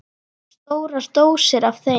Stórar dósir af þeim.